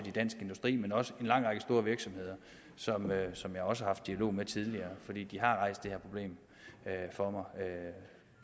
i dansk industri men også i en lang række store virksomheder som jeg også har haft dialog med tidligere fordi de har rejst det her problem for mig